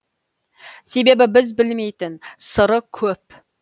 себебі біз білмейтін сыры көп